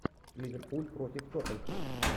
ливерпуль против тоттенхэм